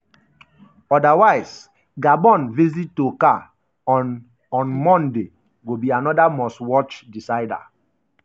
odawise gabon visit to car on on monday go be anoda must-watch decider.